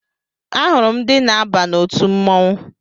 Ahụrụ m ndị na-aba n'otu mmọnwụ